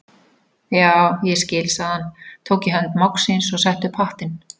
Já, ég skil sagði hann, tók í hönd mágs síns og setti upp hattinn.